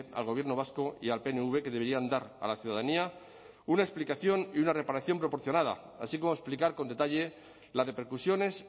al gobierno vasco y al pnv que deberían dar a la ciudadanía una explicación y una reparación proporcionada así como explicar con detalle las repercusiones